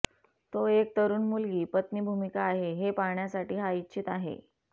तो एक तरुण मुलगी पत्नी भूमिका आहे हे पाहण्यासाठी हा इच्छित आहे